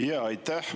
Aitäh!